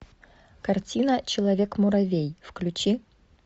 картина человек муравей включи